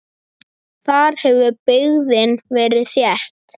Þar hefur byggðin verið þétt.